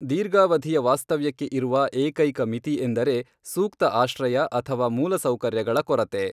ದೀರ್ಘಾವಧಿಯ ವಾಸ್ತವ್ಯಕ್ಕೆ ಇರುವ ಏಕೈಕ ಮಿತಿ ಎಂದರೆ, ಸೂಕ್ತ ಆಶ್ರಯ ಅಥವಾ ಮೂಲ ಸೌಕರ್ಯಗಳ ಕೊರತೆ.